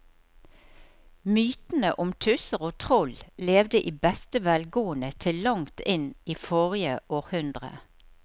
Mytene om tusser og troll levde i beste velgående til langt inn i forrige århundre.